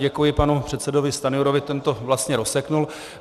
Děkuji panu předsedovi Stanjurovi, ten to vlastně rozsekl.